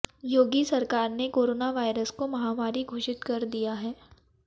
योगी सरकार ने corona virus को महामारी घोषित कर दिया है